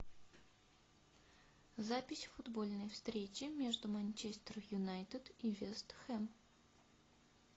запись футбольной встречи между манчестер юнайтед и вест хэм